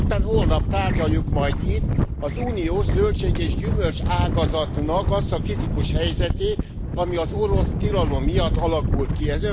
Éppen holnap tárgyaljuk majd itt az uniós zöldség és gyümölcságazatnak azt a kritikus helyzetét, ami az orosz tilalom miatt alakult ki.